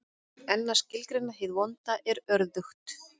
En að skilgreina hið vonda er örðugt.